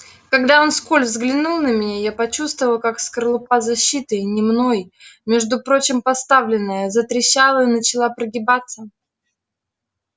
когда он вскользь взглянул на меня я почувствовал как скорлупа защиты не мной между прочим поставленная затрещала и начала прогибаться